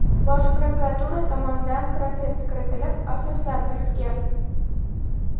Bosh prokuratura tomonidan protest kiritilib, asoslantirilgan.